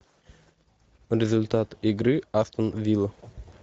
результат игры астон вилла